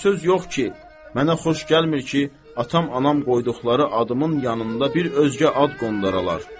və söz yox ki, mənə xoş gəlmir ki, atam-anam qoyduqları adımın yanında bir özgə ad qondaralar.